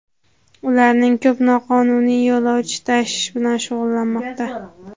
Ularning ko‘p noqonuniy yo‘lovchi tashish bilan shug‘ullanmoqda.